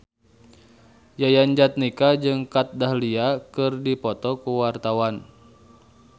Yayan Jatnika jeung Kat Dahlia keur dipoto ku wartawan